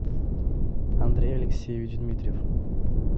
андрей алексеевич дмитриев